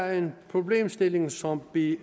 er en problemstilling som vi